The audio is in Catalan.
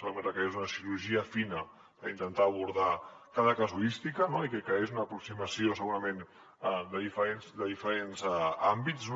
sabem que requereix una cirurgia fina per intentar abordar cada casuística i que hi hagi una aproximació segurament de diferents àmbits